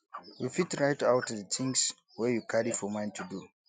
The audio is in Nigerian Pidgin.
you fit write out di things wey you carry for mind to do